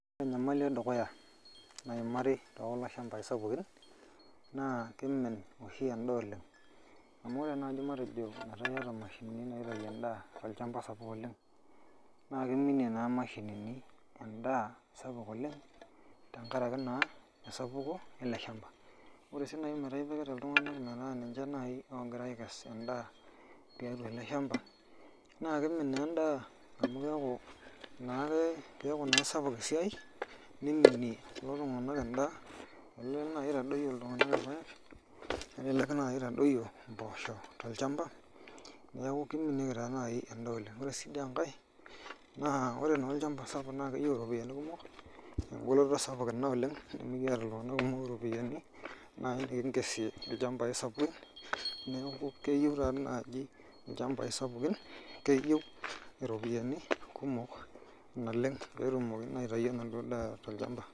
Ore enyamali edukuya nayimari tekulo shambai sapukin naa kimin oshi endaa oleng amu ore naaji tenaa eyaata mashinini naitayu endaa tolchamba sapuk oleng naa kimie naa mashinini endaa sapuk oleng tenkaraki esapuko ele shamba ore sii najii teneku etipika iltung'ana metaa ninche ogira aikesu endaa tiatua ele shamba naa kimin naa endaa amu keeku naa sapuk esiai nimie na kulo tung'ana endaa kelelek naaji eitadoyio irpaek nelelek eitadoyio mboshok tolchamba neeku kiminie naaji endaa oleng ore enkae ore olchamba sapuk naa keyieu eropiani kumok oleng nimikiata iltung'ana kumok eropiani nikingesie neeku keyieu naaji eropiani kumok naleng peyie etumokini aitayu endaa tolchamba